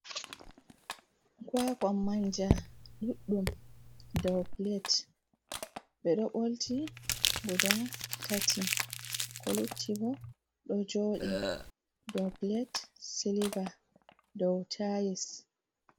Kwakan manja ɗuɗdum dow plate, ɓeɗo ɓolti guda tati ko luttibo ɗo jooɗi dow plate silva dow tais.